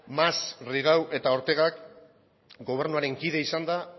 mas rigau eta ortegak gobernuaren kide izanda